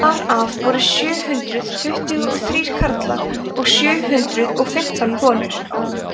þar af voru sjö hundruð tuttugu og þrír karlar og sjö hundruð og fimmtán konur